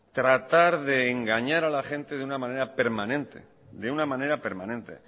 tratar de engañar a la gente de una manera permanente de una manera permanente